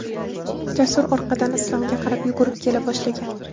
Jasur orqadan Islomga qarab yugurib kela boshlagan.